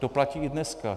To platí i dneska.